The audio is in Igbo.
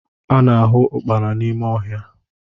A na-ahụ Ụkpana n'ime ọhịa